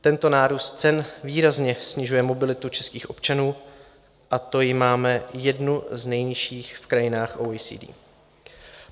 Tento nárůst cen výrazně snižuje mobilitu českých občanů, a to ji máme jednu z nejnižších v krajinách OECD.